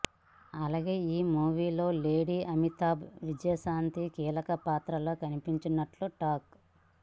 అలాగే ఈ మూవీలో లేడి అమితాబ్ విజయశాంతి కీలక పాత్రలో కనిపించనున్నట్లు టాక్